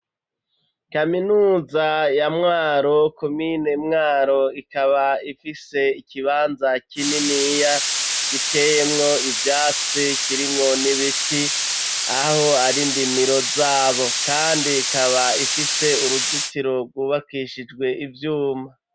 Kaminuza ya Mwaro komine Mwaro ikaba ifise ikibanza kininiya giteyemwo ivyatsi kirimwo n'ibiti aho ari ndimiro zabo kandi ikaba ifise uruzitiro rwubakishijwe ivyuma